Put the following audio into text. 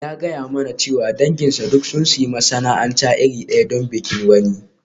Ya gaya mani cewa danginsa duk sun sayi masana'anta iri ɗaya don bikin wani.